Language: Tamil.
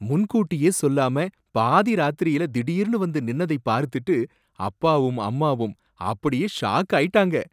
முன்கூட்டியே சொல்லாம பாதி ராத்திரியில திடீர்னு வந்து நின்னதை பார்த்துட்டு அப்பாவும் அம்மாவும் அப்படியே ஷாக் ஆயிட்டாங்க.